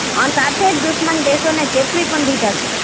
અને સાથે જ દુશ્મન દેશોને ચેતવી પણ દીધા છે